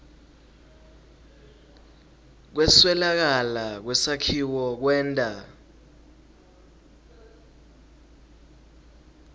kweswelakala kwesakhiwo kwenta